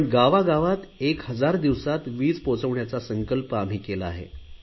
पण गावागावात एक हजार दिवसात वीज पोहचवण्याचा संकल्प आम्ही केला आहे